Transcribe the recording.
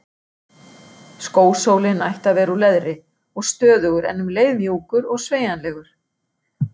Skósólinn ætti að vera úr leðri og stöðugur en um leið mjúkur og sveigjanlegur.